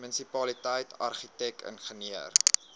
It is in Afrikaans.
munisipaliteit argitek ingenieur